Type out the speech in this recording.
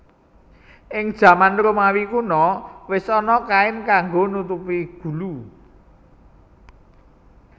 Ing jaman Romawi Kuno wis ana kain kanggo nutupi gulu